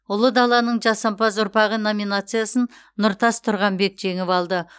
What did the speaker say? ұлы даланың жасампаз ұрпағы номинациясын нұртас тұрғанбек жеңіп алды